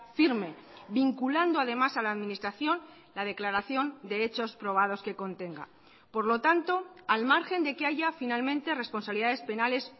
firme vinculando además a la administración la declaración de hechos probados que contenga por lo tanto al margen de que haya finalmente responsabilidades penales